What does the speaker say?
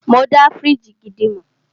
Mọ dá fíríjì gidi mọ̀.